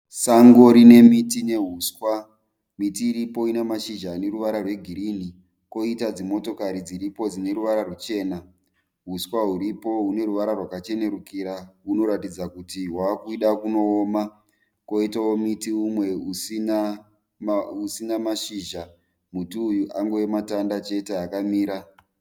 Sango rine miti neuswa. Miti iripo ina mashizha ane ruvara rwegirini. Kwoita dzimotokari dziripo dzine ruvara ruchena. Uswa huripo hune ruvara rwakachenerukira. Hunoratidza kuti hwave kuda kunooma. Kwoitawo muti usina mashizha. Muti uyu angove matanda chete akamira.